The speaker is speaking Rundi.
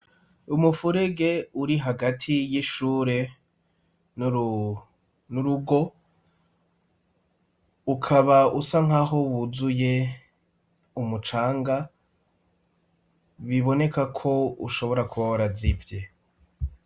Umufurege uri hagati y'ishure n'urugo ukaba usa nk'aho wuzuye umucanga biboneka ko ushobora kuba warazivye.